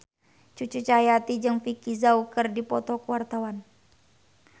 Cucu Cahyati jeung Vicki Zao keur dipoto ku wartawan